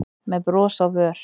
með bros á vör.